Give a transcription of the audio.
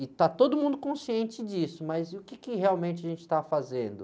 E está todo mundo consciente disso, mas e o quê que realmente a gente está fazendo?